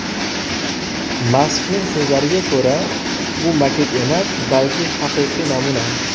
Maskning so‘zlariga ko‘ra bu maket emas, balki haqiqiy namuna.